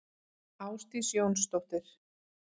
Ásdís Jónsdóttir.